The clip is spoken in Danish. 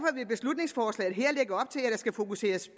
skal fokuseres